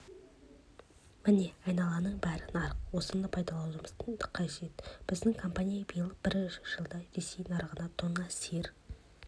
міне айналаның бәрі нарық осыны пайдалануымыз қажет біздің компания биыл бір жылда ресей нарығына тонна сиыр